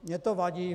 Mně to vadí.